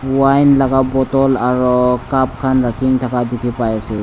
wine laga bottle aru cup khan rakhi thaka dekhi pai ase.